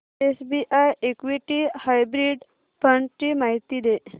SBI equity hybrid fund ची माहिती दे